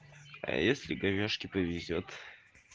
а если говежке повезёт